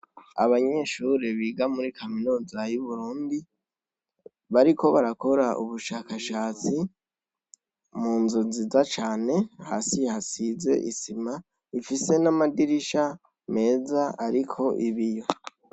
Abanyeshure biga muri kaminuza y'Uburundi bariko barakora ubushakashatsi mu nzu nziza cane, hasi hasize isima, ifise n'amadirisha meza, ariko ibiyo.